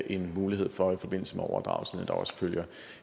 en mulighed for i forbindelse med overdragelsen at der også følger